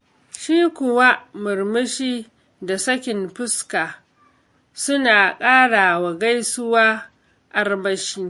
Shi kuwa murmushi da sakin fuska suna ƙarawa gaisuwa armashi.